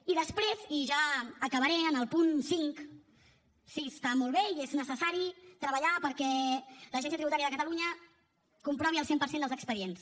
i després i ja acabaré el punt cinc sí està molt bé i és necessari treballar perquè l’agència tributària de catalunya comprovi el cent per cent dels expedients